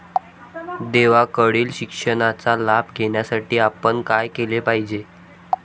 देवाकडील शिक्षणाचा लाभ घेण्यासाठी आपण काय केले पाहिजे?